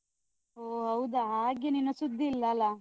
ಓ ಹೌದಾ ಹಾಗೆ ನಿನ್ನ ಸುದ್ದಿಇಲ್ಲ ಅಲ.